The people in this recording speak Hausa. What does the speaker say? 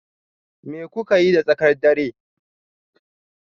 Me kuka yi da tsakar dare?